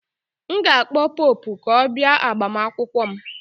M ga-akpọ Popụ ka ọ bịa agbamakwụkwọ m